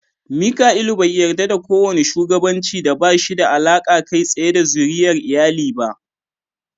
Mika'ilu bai yarda da kowane shugabanci da ba shi da alaƙa kai tsaye da zuriyar iyali ba.